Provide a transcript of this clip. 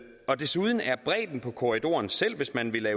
og desuden er bredden på korridoren selv hvis man ville